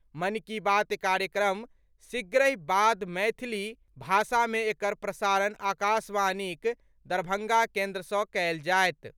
मन की बात कार्यक्रमक शीघ्रहि बाद मैथिली भाषा मे एकर प्रसारण आकाशवाणीक दरभंगा केंद्र सँ कयल जायत।